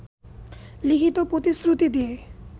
লিখিত প্রতিশ্রুতি দিয়ে